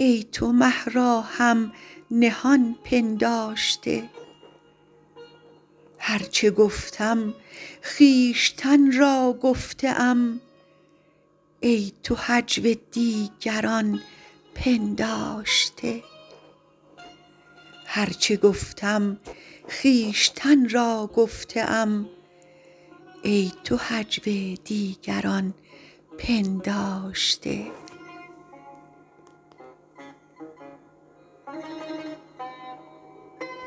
ای تو مه را هم نهان پنداشته هر چه گفتم خویشتن را گفته ام ای تو هجو دیگران پنداشته